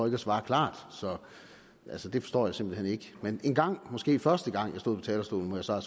at svare klart så det forstår jeg simpelt hen ikke men engang måske første gang jeg stod på talerstolen må jeg så